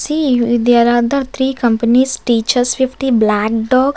see there are the three companies teachers black dog.